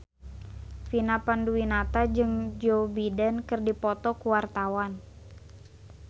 Vina Panduwinata jeung Joe Biden keur dipoto ku wartawan